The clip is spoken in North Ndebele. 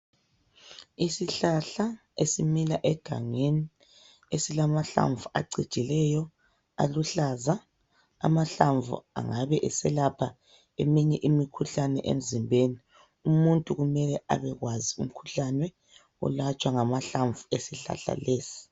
Isihlahla esimila egangeni esilamahlamvu acijileyo aluhlaza. Amahlamvu angabe eselapha eminye imikhuhlane emzimbeni. Umuntu kumele abekwazi umkhuhlane olatshwa ngamahlamvu esihlahla lesi.